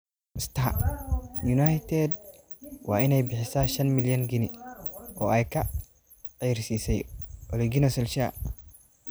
(Star) United waa inay bixisaa shan milyan ginni oo ay ka ceyrisay Ole Gunnar Solskjaer.